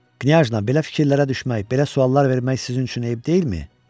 Knyajna, belə fikirlərə düşmək, belə suallar vermək sizin üçün eyib deyilmi?